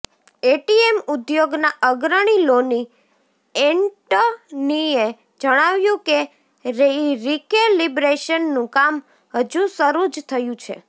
ATM ઉદ્યોગના અગ્રણી લોની એન્ટનીએ જણાવ્યું કે રિકેલિબ્રેશનનું કામ હજુ શરૂ જ થયું છે